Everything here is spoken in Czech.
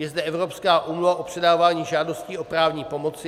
Je zde Evropská úmluva o předávání žádostí o právní pomoci.